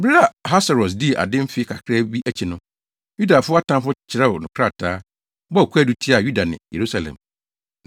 Bere a Ahasweros dii ade mfe kakraa bi akyi no, Yudafo atamfo kyerɛw no krataa, bɔɔ kwaadu tiaa Yuda ne Yerusalem.